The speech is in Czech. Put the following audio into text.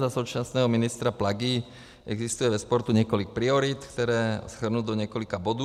Za současného ministra Plagy existuje ve sportu několik priorit, které shrnu do několika bodů.